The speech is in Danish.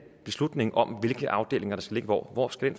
beslutningen om hvilke afdelinger der skal ligge hvor hvor skal